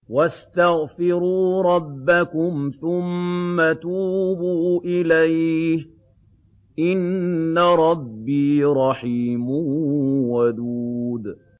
وَاسْتَغْفِرُوا رَبَّكُمْ ثُمَّ تُوبُوا إِلَيْهِ ۚ إِنَّ رَبِّي رَحِيمٌ وَدُودٌ